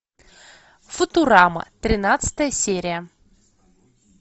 футурама тринадцатая серия